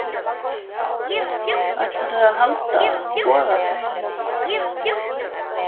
Ætlarðu að halda, boða fleiri mótmæli?